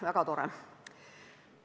Väga tore!